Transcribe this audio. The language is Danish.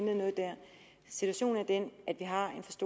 system